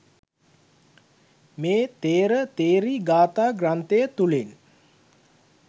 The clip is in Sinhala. මේ ථේර ථෙරී ගාථා ග්‍රන්ථය තුළින්